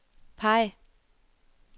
peg